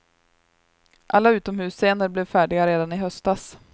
Alla utomhusscener blev färdiga redan i höstas.